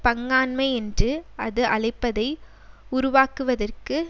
பங்காண்மை என்று அது அழைப்பதை உருவாக்குவதற்கு